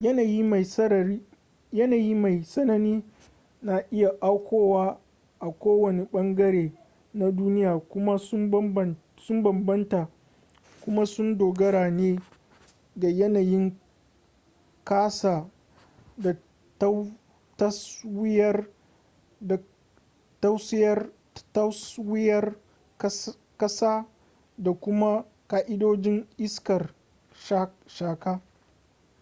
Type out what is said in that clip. yanayi mai tsanani na iya aukuwa a ko wani bangare na duniya kuma sun bambanta kuma sun dogara ne ga yanayin kasa da taswirar kasa da kuma ka'idojin iskar shaka